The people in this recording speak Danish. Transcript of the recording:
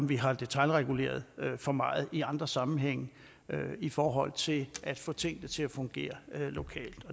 vi har detailreguleret for meget i andre sammenhænge i forhold til at få tingene til at fungere lokalt